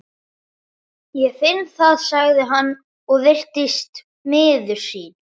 Ég finn það, sagði hann og virtist miður sín.